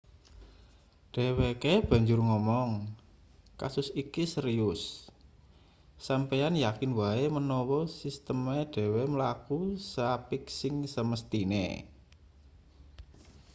dheweke banjur ngomong kasus iki serius sampeyan yakin wae menawa sisteme dhewe mlaku seapik sing semesthine